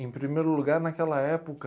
Em primeiro lugar, naquela época...